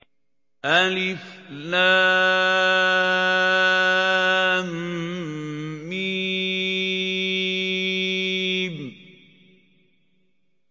الم